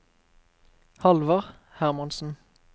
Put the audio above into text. Halvard Hermansen